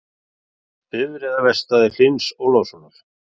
Bifreiðaverkstæði Hlyns Ólafssonar.